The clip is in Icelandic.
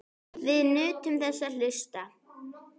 Við nutum þess að hlusta.